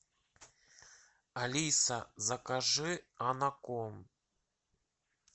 алиса закажи анаком